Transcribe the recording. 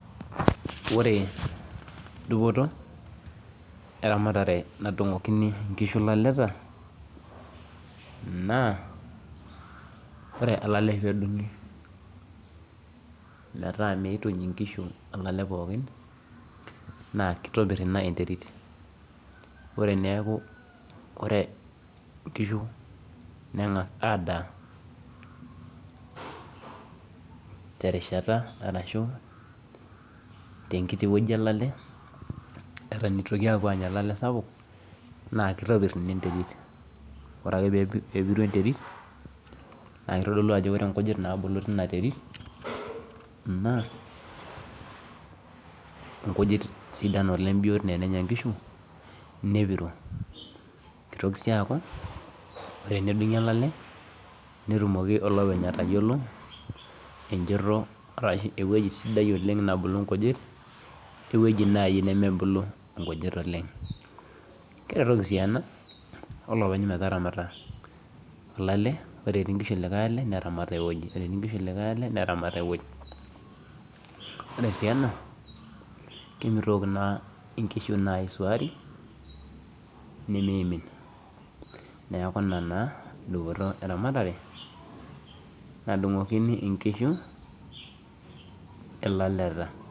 Ore dupoto eramatare nadung'okini nkishu laleta naa ore olale peedung'i metaa meeituny inkishu olale pookin, naa keitobirr ina enterit. Ore eneaku ore nkishu neng'as adaa terishata arashu tenkiti wueji olale, eton eitoki apuo anya olale sapuk naa keitopirr ina enterit. Ore ake peepiru enterit naakeitodolu ajo ore nkujit naabulu teina terit naa inkujit sidan oleng' biot tenenya nkishu nepiru. Keitoki sii aku ore tenedung'i olale netumoki olopeny atayiolo enchoto arashu ewueji sidai oleng' naabulu nkujit oewueji nai nemebulu nkujit oleng'. Keretoki sii ena olopeny metaramata olale, ore etii nkishu likai ale neramat ewueji, ore etii nkishu likai ale neramat ewueji. Ore sii ena kemeitoki naa inkishu naa aisuaari nemeeimin. Neaku nena dupoto eramatare nadung'okini inkishu ilaleta.